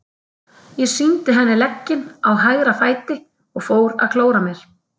Ég sýndi henni legginn á hægra fæti og fór að klóra mér.